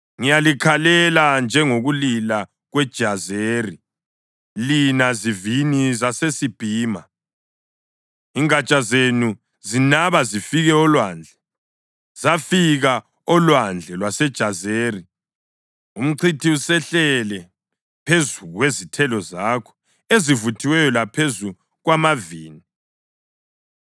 Ngiyalikhalela njengokulila kweJazeri, lina zivini zaseSibhima. Ingatsha zenu zinaba zifike olwandle, zafika olwandle lwaseJazeri. Umchithi usehlele phezu kwezithelo zakho ezivuthiweyo laphezu kwamavini.